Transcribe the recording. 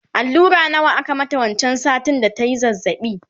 allura nawa aka mata wancan satin da tayi zazzabi?